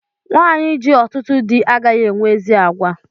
Nwanyi ji ọtụtụ dị agaghị enwe ezi àgwà